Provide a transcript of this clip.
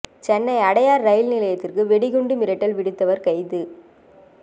Chennai Adyar rail நிலையத்திற்கு வெடிகுண்டு மிரட்டல் விடுத்தவர் கைது